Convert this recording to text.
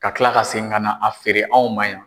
Ka kila ka segin ka na a feere anw ma yan.